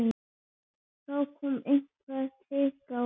Þá kom eitthvert hik á hana.